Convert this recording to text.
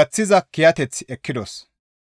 gaththiza kiyateth ekkidos.